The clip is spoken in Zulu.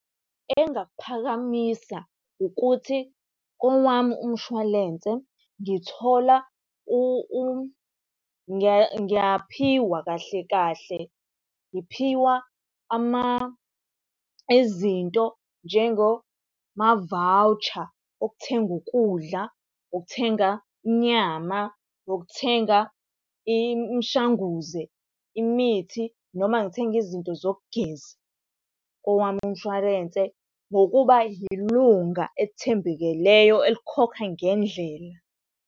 Engingakuphakamisa ukuthi, kowami umshwalense ngithola ngiyaphiwa kahle kahle. Ngiphiwa izinto njengoma-voucher okuthenga ukudla, okuthenga inyama, nokuthenga imishanguze imithi noma ngithenge izinto zokugeza kowami umshwarense ngokuba yilunga elithembekileyo elikhokha ngendlela.